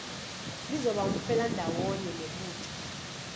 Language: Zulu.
lizoba umfelandawonye nebutho